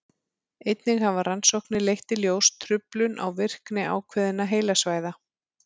einnig hafa rannsóknir leitt í ljós truflun á virkni ákveðinna heilasvæða